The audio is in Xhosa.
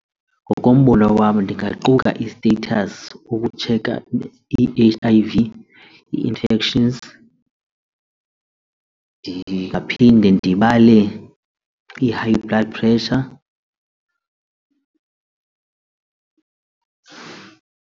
Ngokombono wam ndingaquka i-status ukutsheka i-H_I_V, ii-infections. Ndingaphinde ndibale i-high blood pressure.